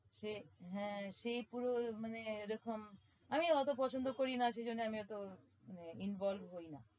সে হ্যাঁ সেই পুরো মানে এরকম আমি ওতো পছন্দ করি না সে জন্যে আমি ওতো মানে involve হই না।